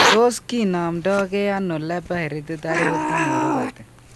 Tos ki nomndo gee ano Leber hereditary optic neuropathy ?